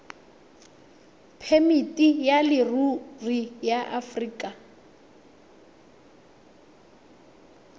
phemiti ya leruri ya aforika